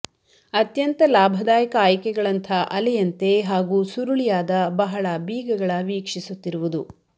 ಅತ್ಯಂತ ಲಾಭದಾಯಕ ಆಯ್ಕೆಗಳಂಥ ಅಲೆಯಂತೆ ಹಾಗೂ ಸುರುಳಿಯಾದ ಬಹಳ ಬೀಗಗಳ ವೀಕ್ಷಿಸುತ್ತಿರುವುದು